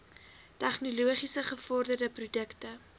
tegnologies gevorderde produkte